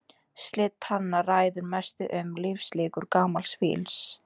Slit tanna ræður mestu um lífslíkur gamals fíls.